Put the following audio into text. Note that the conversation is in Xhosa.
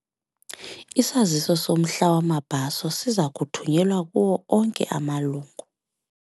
Isaziso somhla wamabhaso siza kuthunyelwa kuwo onke amalungu.